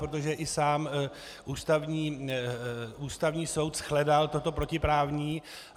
Protože i sám Ústavní soud shledal toto protiprávním.